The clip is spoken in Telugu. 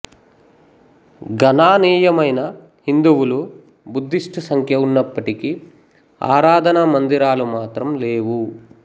గణానీయమైన హిందువులు బుద్ధిస్ట్ సంఖ్య ఉన్నప్పటికీ ఆరాధనామందిరాలు మాత్రం లేవు